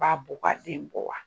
B'a bɔ ka den bɔ wa ?